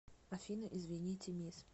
афина извините мисс